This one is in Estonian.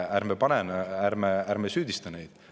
Ärme süüdistame neid.